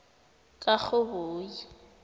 karhoboyi